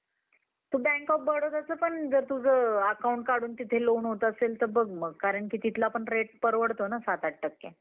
Goliath, तुम्हाला David आणि गोलीयथाची कथा माहीतच असेल. तो एक राक्षस होता, गावकऱ्यांना तो फारच छळायचा एकदा डेव्हिड व पो अं